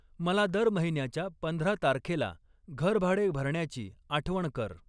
मला दर महिन्याच्या पंधरा तारखेला घरभाडे भरण्याची आठवण कर.